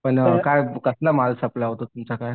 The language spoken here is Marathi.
पण काय कसला माल सप्लाय होतो तुमच्याकडे